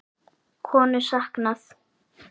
Konu saknað